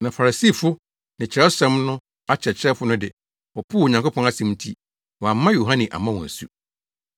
Na Farisifo ne Kyerɛwsɛm no akyerɛkyerɛfo no de, wɔpoo Onyankopɔn asɛm nti, wɔamma Yohane ammɔ wɔn asu.